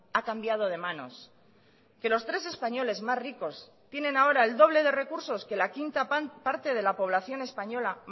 ha cambiado de manos que los tres españoles más ricos tienen ahora el doble de recursos que la quinta parte de la población española